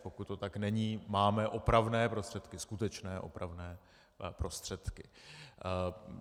Pokud to tak není, máme opravné prostředky, skutečné opravné prostředky.